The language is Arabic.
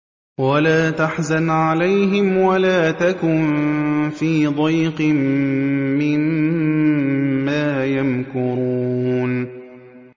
وَلَا تَحْزَنْ عَلَيْهِمْ وَلَا تَكُن فِي ضَيْقٍ مِّمَّا يَمْكُرُونَ